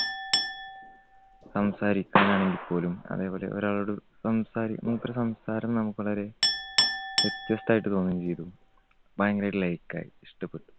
സംസാരിക്കാനായിട്ട് പോലും അതേപോലെ ഒരാളോട് സംസാരി മൂപ്പരുടെ സംസാരം നമുക്ക് വളരെ വ്യത്യസ്തായിട്ട് തോന്നുകയും ചെയ്തു. ഭയങ്കരായിട്ട് like ആയി. ഇഷ്ടപ്പെട്ടു.